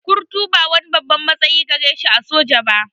Kurtu ba wani babban matsayi gare shi a soja ba